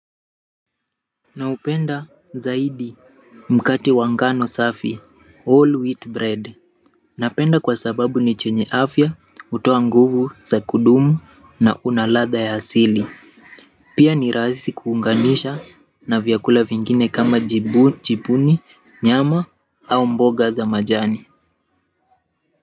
Naupenda zaidi mkate wa ngano safi all wheat bread napenda kwa sababu ni chenye afya hutoa nguvu za kudumu na una ladha ya asili pia ni rahisi kuunganisha na vyakula vingine kama jibuni nyama au mboga za majani.